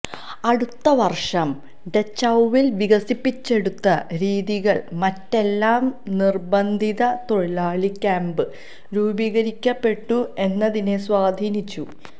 അടുത്ത വർഷം ഡച്ചൌവിൽ വികസിപ്പിച്ചെടുത്ത രീതികൾ മറ്റെല്ലാം നിർബന്ധിത തൊഴിലാളി ക്യാമ്പ് രൂപീകരിക്കപ്പെട്ടു എന്നതിനെ സ്വാധീനിച്ചു